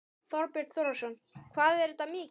Þorbjörn Þórðarson: Hvað er þetta mikið?